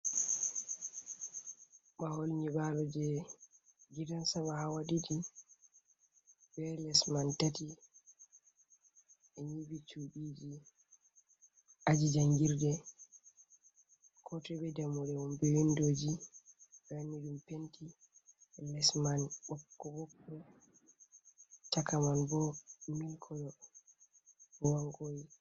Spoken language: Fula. Mahol nyiɓalo je gidan sama hawa ɗiɗi be les man tati, ɓe nyiɓi cuɗiji aji jangirde ko toi be dammuɗe mom be wlindoji, ɓe wanni ɗum penti les man ɓokko ɓokko, chaka man bo mil kolo ruwan kwoyi.